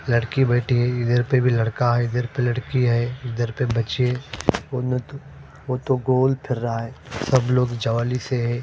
लडकी बेठी हुई है इधर पे भी लड़का है इधर पे लडकी है इधर पे बचे वोटो गोल थरा है सब लोग ज्वाली से है।